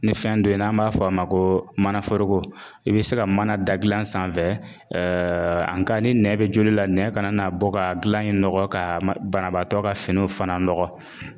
Ni fɛn dɔ ye n'an b'a fɔ a ma ko manaforoko; i bi se ka mana da gilan sanfɛ, ni nɛn bi joli la, nɛn kana bɔ ka gilan in nɔgɔ ka banabaatɔ ka finiw fana nɔgɔ